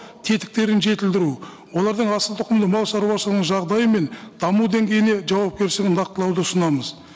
тетіктерін жетілдіру олардың асылтұқымды малшаруашылығының жағдайы мен даму деңгейіне жауапкершілігін нақтылауды ұсынамыз